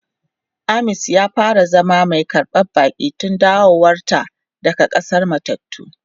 Aamins ya fara zama mai karban baki tun dawowar ta daga k'asar matattu.